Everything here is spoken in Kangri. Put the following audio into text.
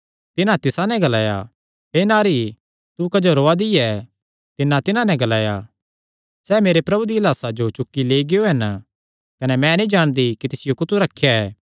तिन्हां तिसा नैं ग्लाया हे नारी तू क्जो रोआ दी ऐ तिन्नै तिन्हां नैं ग्लाया सैह़ मेरे प्रभु दिया लाह्सा जो चुक्की लेई गियो हन कने मैं नीं जाणदी कि तिसियो कुत्थू रखेया ऐ